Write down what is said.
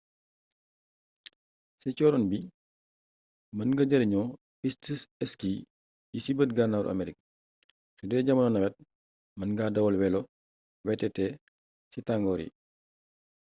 ci cóoróon bi mën nga jarinoo piste ski yi ci bët gànnaaru amerik sudee jamonoy nawet mën nga dawal welo vtt ci tangor yi